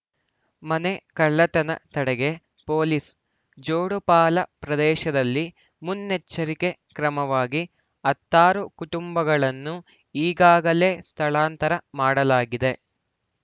ಮನೆ ಕಳ್ಳತನ ತಡೆಗೆ ಪೊಲೀಸ್‌ ಜೋಡುಪಾಲ ಪ್ರದೇಶದಲ್ಲಿ ಮುನ್ನೆಚ್ಚರಿಕೆ ಕ್ರಮವಾಗಿ ಹತ್ತಾರು ಕುಟುಂಬಗಳನ್ನು ಈಗಾಗಲೇ ಸ್ಥಳಾಂತರ ಮಾಡಲಾಗಿದೆ